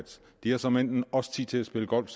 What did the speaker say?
de har såmænd også tid til at spille golf